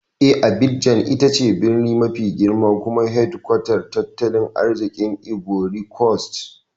Eh, Abidjan ita ce birni mafi girma kuma hedkwatar tattalin arzikin Ivory Coast.